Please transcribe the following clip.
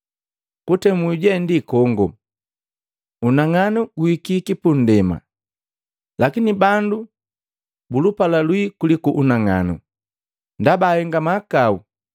Kutemu je ndi kongo, unang'anu guhikiki pundema, lakini bandu bulupala lwii kuliku unang'anu, ndaba ahenga mahakau.